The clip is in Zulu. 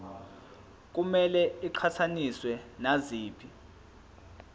kumele iqhathaniswe naziphi